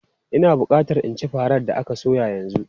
Ina bukata in ci farar da aka soya yanzu!